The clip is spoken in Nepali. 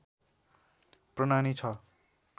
प्रनानि ६